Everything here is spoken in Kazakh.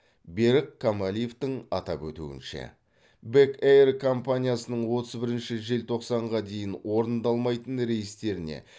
берік камалиевтің атап өтуінше бек эйр компаниясының отыз бірінші желтоқсанға дейін орындалмайтын рейстеріне